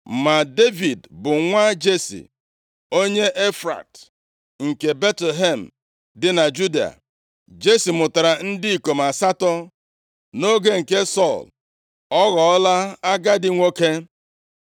Ma Devid bụ nwa Jesi, onye Efrat nke Betlehem dị na Juda. Jesi mụtara ndị ikom asatọ. Nʼoge nke Sọl, ọ ghọọla agadi nwoke.